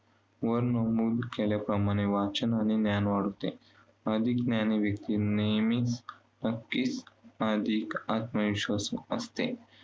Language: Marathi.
वर नमुद केलेल्या प्रमाणे वाचन आणि ज्ञान वाढते. अधिक ज्ञानी व्यक्ती नेहमीच नक्कीच अधिक आत्मविश्वासू असते.